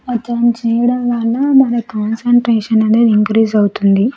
అతను చేయడం వలన మాన కాన్సంట్రేషన్ అనేది ఇంక్రీస్ అవుతుంది.